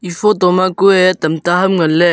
e photo ma kue tamta ham ngan ley.